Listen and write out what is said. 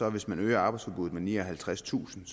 at hvis man øger arbejdsudbuddet med nioghalvtredstusind